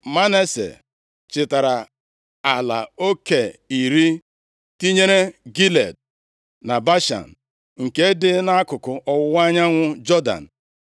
Manase chịtara ala oke iri, tinyere Gilead, na Bashan nke dị nʼakụkụ ọwụwa anyanwụ Jọdan,